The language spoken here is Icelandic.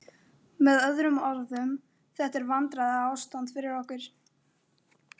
Með öðrum orðum: þetta er vandræðaástand fyrir okkur.